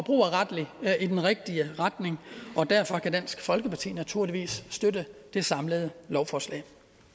er i den rigtige retning og derfor kan dansk folkeparti naturligvis støtte det samlede lovforslag